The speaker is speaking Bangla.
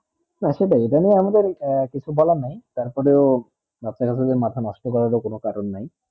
জানেন আমাদের কিছু বলা নেই তার পরেও রাতে রাতে যে মাথা মাস্তে কোনো কারণ নেই